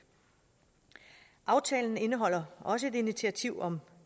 aftalen indeholder også et initiativ om